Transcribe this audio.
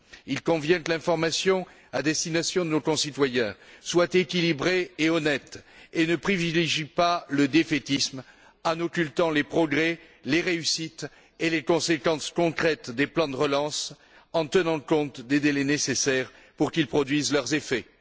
Il convient que l'information à destination de nos concitoyens soit équilibrée et honnête et ne privilégie pas le défaitisme en occultant les progrès, les réussites et les conséquences concrètes des plans de relance, en tenant compte des délais nécessaires pour qu'ils produisent leurs effets.